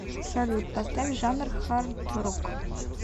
салют поставь жанр хардрог